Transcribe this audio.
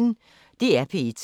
DR P1